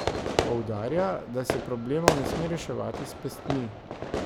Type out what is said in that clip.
Poudarja, da se problemov ne sme reševati s pestmi.